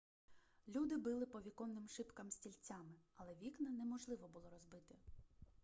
люди били по віконним шибкам стільцями але вікна неможливо було розбити